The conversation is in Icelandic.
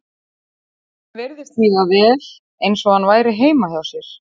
Honum virtist líða vel eins og hann væri heima hjá sér.